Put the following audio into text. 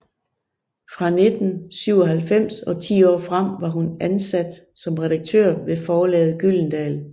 Fra 1997 og ti år frem var hun ansat som redaktør ved forlaget Gyldendal